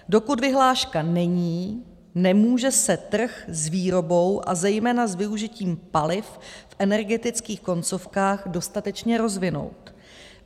Dokud vyhláška není, nemůže se trh s výrobou a zejména s využitím paliv v energetických koncovkách dostatečně rozvinout.